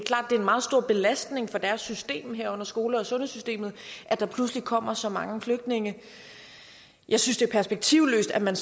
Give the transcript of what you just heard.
er en meget stor belastning for deres system herunder skole og sundhedssystemet at der pludselig kommer så mange flygtninge jeg synes det er perspektivløst at man